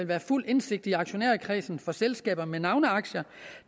være fuld indsigt i aktionærkredsen for selskaber med navneaktier